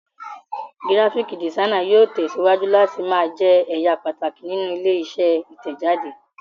Gíráfíkì dìsainì yóò tẹ̀síwájú láti máa jẹ ẹ̀ya pàtàkì nínú ilé-iṣẹ́ Ìtẹ̀jáde.